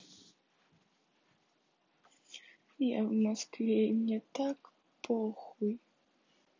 я в москве и мне так похуй